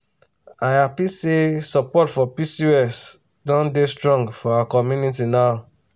i happy say support for pcos don dey strong for our community now.